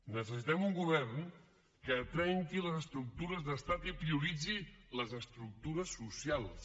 necessitem un govern que trenqui les estructures d’estat i prioritzi les estructures socials